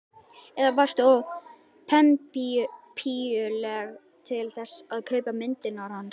Eða varstu of pempíuleg til þess að kaupa myndirnar hans?